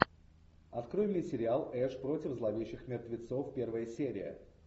открой мне сериал эш против зловещих мертвецов первая серия